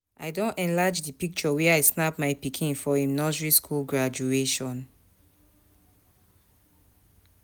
I don enlarge di picture wey I snap my pikin for im nursery skool graduation.